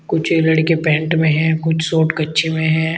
कुछ लड़के पैंट में हैं कुछ शॉर्ट कच्छे में हैं।